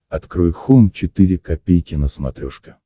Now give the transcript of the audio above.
открой хоум четыре ка на смотрешке